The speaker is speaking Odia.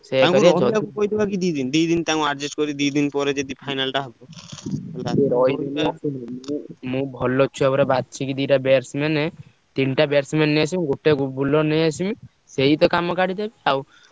ତାଙ୍କୁ adjust କରି ଦିଦିନ ତାଙ୍କୁ final ଟା ହବ ମୁଁ ଭଲ ଛୁଆ ପୁରା ବାଛିକି ଦିଟା batsman ତିନିଟା batsman ନେଇଆସିବି ଗୋଟେ bowler ନେଇଆସିବି ସେଇ ତ କାମ କାଢିଦେବେ ଆଉ।